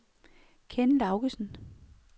Kenn Laugesen